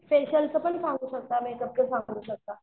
फेशिअलचं पण सांगू शकता मेकअपचं पण सांगू शकता.